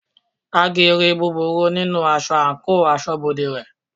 Haggi ri búburú nínú aṣọ àńkò asọ́bodè rẹ̀.